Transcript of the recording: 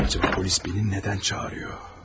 Görəsən polis məni niyə çağırır?